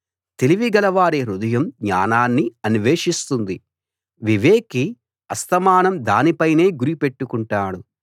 తెలివి గలవారి హృదయం జ్ఞానాన్ని అన్వేషిస్తుంది వివేకి అస్తమానం దాని పైనే గురి పెట్టుకుంటాడు